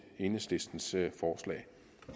enhedslistens forslag